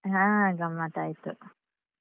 ಹಾ ಗಮ್ಮತ್ ಆಯ್ತು.